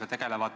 Aitäh!